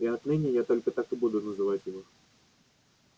и отныне я только так и буду называть его